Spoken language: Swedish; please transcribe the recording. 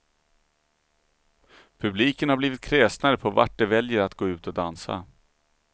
Publiken har blivit kräsnare på vart de väljer att gå ut och dansa.